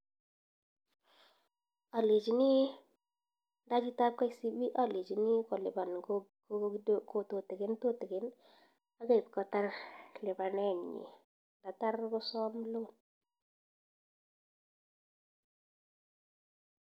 Benkit ab kcb alenchii kolipan tutukin tutukin atya ipkotar lipanet nyii ndatar kosam loan